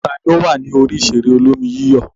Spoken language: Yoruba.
Ta ni ó wà ní orí ìṣeré olómi-yíyọ̀?